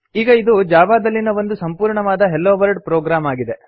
ಈಗ ಇದು ಜಾವಾದಲ್ಲಿನ ಒಂದು ಸಂಪೂರ್ಣವಾದ ಹೆಲೊವರ್ಲ್ಡ್ ಪ್ರೊಗ್ರಾಮ್ ಆಗಿದೆ